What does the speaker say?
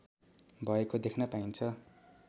भएको देख्न पाइन्छ